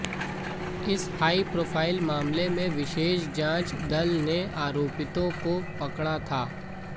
इस high profile मामले में विशेष जांच दल ने आरोपितों को पकड़ा था